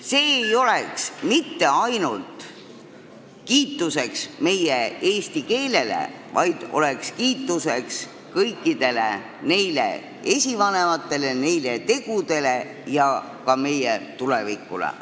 See ei oleks mitte ainult kiitus eesti keelele, see oleks kiitus ka kõikidele meie esivanematele, nende tegudele ja meie tulevikule.